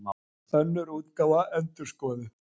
Önnur útgáfa, endurskoðuð.